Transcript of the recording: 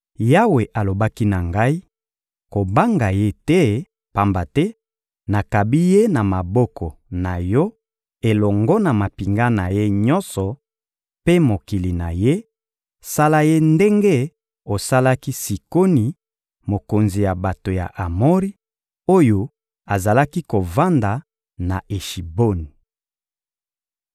Yawe alobaki na ngai: «Kobanga ye te, pamba te nakabi ye na maboko na yo elongo na mampinga na ye nyonso mpe mokili na ye; sala ye ndenge osalaki Sikoni, mokonzi ya bato ya Amori, oyo azalaki kovanda na Eshiboni.»